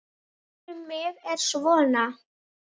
Vísan um mig er svona